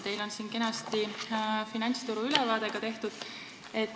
Teil on siin kenasti tehtud finantsturu ülevaade.